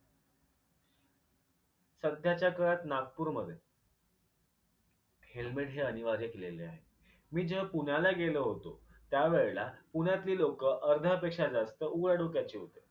सध्याच्या काळात नागपूर मध्ये helmet हे अनिवार्य केलेले आहे. मी जेव्हा पुण्याला गेलो होतो त्यावेळेला पुण्यातली लोकं अर्ध्या पेक्षा जास्त उघड्या डोक्याची होती.